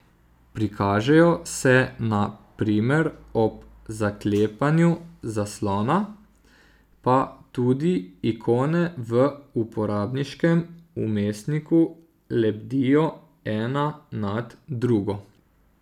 Prikažejo se na primer ob zaklepanju zaslona, pa tudi ikone v uporabniškem vmesniku lebdijo ena nad drugo.